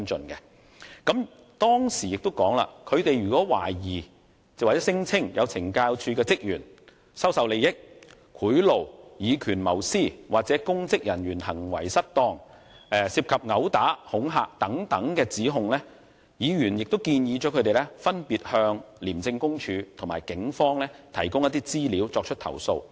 議員在會面時亦表示，如果團體代表懷疑或聲稱有懲教署職員收受利益、接受賄賂、以權謀私、干犯公職人員行為失當、涉及毆打、恐嚇等指控，他們應分別向廉政公署及警方提供資料，作出舉報。